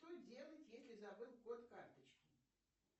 что делать если забыл код карточки